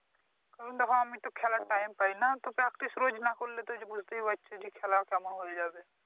কারন দেখো আমিতো খেলার টাইম পাইনা তো Practice রোজ নাহ করলে তো ওইযে বুঝতেই পারছো যে খেলা কেমন হয়ে যাবে ।